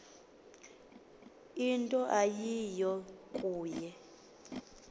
into eyiyo kuye